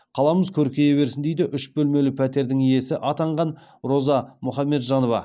қаламыз көркейе берсін дейді үш бөлмелі пәтердің иесі атанған роза мұхамеджанова